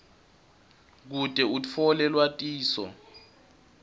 kute utfole lwatiso